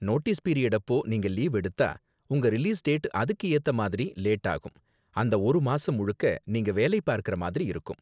Notice period அப்போ நீங்க leave எடுத்தா, உங்க ரிலீஸ் டேட் அதுக்கு ஏத்த மாதிரி லேட் ஆகும், அந்த ஒரு மாசம் முழுக்க நீங்க வேலை பார்க்கற மாதிரி இருக்கும்.